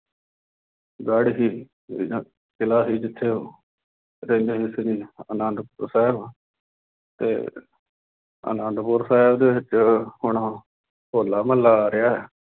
ਗੜ੍ਹ ਸੀ ਜਿਦਾਂ ਕਿਲਾ ਸੀ ਜਿੱਥੇ ਉੱਥੇ ਇਹਨਾ ਹੀ ਸ੍ਰੀ ਆਨੰਦਪੁਰ ਸਾਹਿਬ ਅਤੇ ਆਨੰਦਪੁਰ ਸਾਹਿਬ ਦੇ ਵਿੱਚ ਹੁਣ ਹੋਲਾ ਮਹੱਲਾ ਆ ਰਿਹਾ।